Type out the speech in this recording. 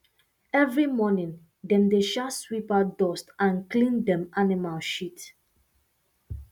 every morning dem dey um sweep out dust and clean um animal shit